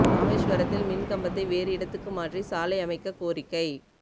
ராமேசுவரத்தில் மின் கம்பத்தை வேறு இடத்துக்கு மாற்றி சாலை அமைக்க கோரிக்கை